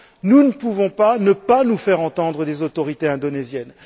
Nous ne pouvons pas ne pas nous faire entendre des autorités indonésiennes.